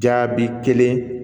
Jaabi kelen